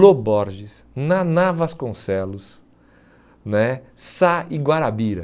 Loborges, Naná Vasconcelos né, Sá e Guarabira.